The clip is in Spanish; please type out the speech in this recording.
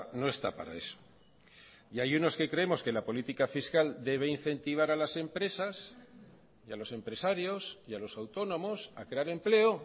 no está para eso y hay unos que creemos que la política fiscal debe incentivar a las empresas y a los empresarios y a los autónomos a crear empleo